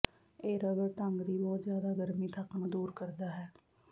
ਇਹ ਰਗੜ ਢੰਗ ਦੀ ਬਹੁਤ ਜ਼ਿਆਦਾ ਗਰਮੀ ਤੱਕ ਨੂੰ ਦੂਰ ਕਰਦਾ ਹੈ